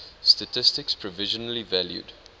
statistics provisionally valued